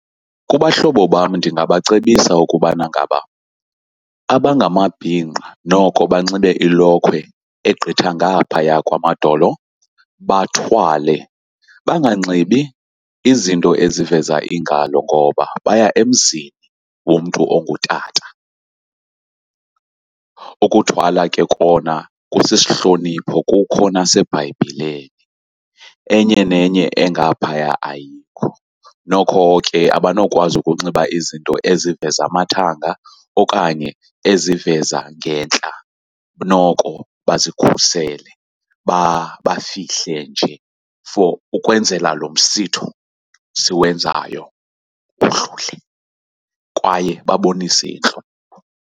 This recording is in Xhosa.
Kubahlobo bam ndingabacebisa ukubana ngaba abangamabhinqa noko banxibe ilokhwe egqitha ngaphaya kwamadolo, bathwale. Banganxibi izinto eziveza iingalo ngoba baya emzini womntu ongutata. Ukuthwala ke kona kusisihlonipho, kukho naseBhayibhileni. Enye nenye engaphaya ayikho. Noko ke abanokwazi ukunxiba izinto eziveza amathanga okanye eziveza ngentla, noko bazikhusele bafihle nje for ukwenzela lo msitho siwenzayo udlule kwaye babonise intlonipho.